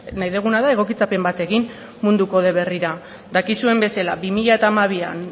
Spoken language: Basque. nahi duguna da egokitzapen bat egin mundu kode berrira dakizuen bezala bi mila hamabi